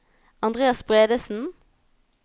Andreas Bredesen